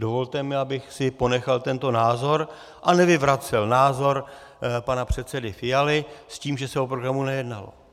Dovolte mi, abych si ponechal tento názor a nevyvracel názor pana předsedy Fialy s tím, že se o programu nejednalo.